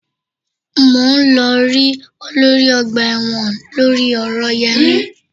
Mò ń lọ rí olórí ọgbà ẹ̀wọ̀n lórí ọ̀rọ̀ Yẹmí